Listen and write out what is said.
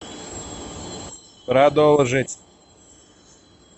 продолжить